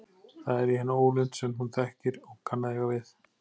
Það er í henni ólund sem hún þekkir og kann að eiga við.